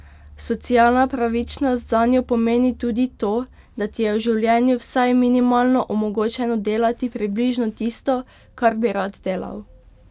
Socialna pravičnost zanjo pomeni tudi to, da ti je v življenju vsaj minimalno omogočeno delati približno tisto, kar bi rad delal.